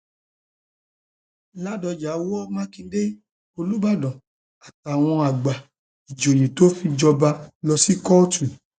ládọjá wọ mákindé olùbàdàn àtàwọn àgbà um ìjòyè tó fi jọba um lọ sí kóòtù